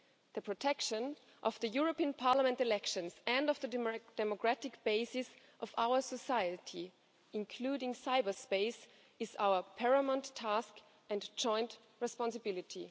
The protection of the European Parliament elections and of the democratic basis of our society, including cyberspace, is our paramount task and joint responsibility.